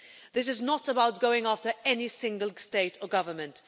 This is not about going after any single state or government.